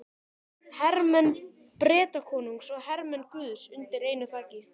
Hermenn Bretakonungs og hermenn guðs undir einu þaki.